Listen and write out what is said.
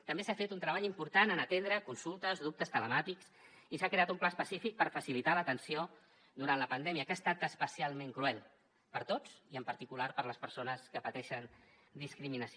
també s’ha fet un treball important en atendre consultes dubtes telemàtics i s’ha creat un pla específic per facilitar l’atenció durant la pandèmia que ha estat especialment cruel per a tots i en particular per a les persones que pateixen discriminació